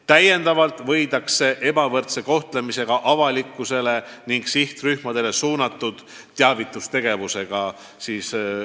Täiendavalt võideldakse ebavõrdse kohtlemisega kogu avalikkusele ning sihtrühmadele suunatud teavitustegevusega.